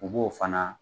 U b'o fana